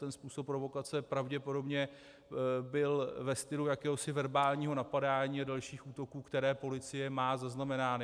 Ten způsob provokace pravděpodobně byl ve stylu jakéhosi verbálního napadání a dalších útoků, které policie má zaznamenány.